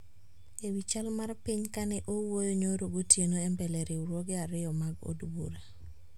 E wi chal mar piny ka ne owuoyo nyoro gotieno e mbele riwruoge ariyo mag od bura